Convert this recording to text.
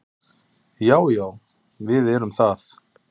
Já, já við erum það.